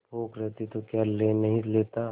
भूख रहती तो क्या ले नहीं लेता